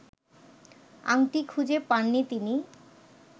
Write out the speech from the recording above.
আংটি খুঁজে পাননি তিনি